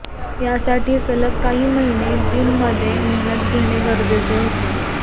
यासाठी सलग काही महिने जिमममध्ये मेहनत घेणे गरजेचे होते